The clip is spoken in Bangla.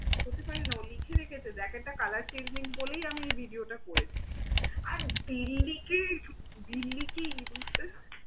হতে পারে না অনেকেই লিখেছে যে jacket টা colour changing বলেই আমি এই video টা করেছি। আমি বিল্লিকে, বিল্লিকে ইঁদুরটা